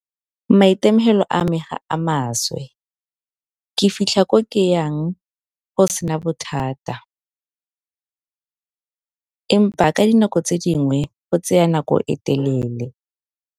Maitemogelo a me ga a maswe ke fitlha ko ke yang go sena bothata. Empa ka dinako tse dingwe go tsaya nako e telele.